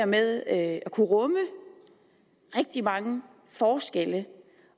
med at kunne rumme rigtig mange forskelle